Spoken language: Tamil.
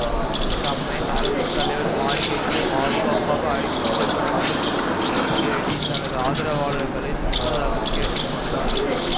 தம்மை அரசு தலைவர் மாளிகைக்கு பாதுகாப்பாக அழைத்து செல்லுமாறு திரு த்சிசெக்கேடி தனது ஆதரவாலர்களை முன்னதாகக் கேட்டு கொண்டார்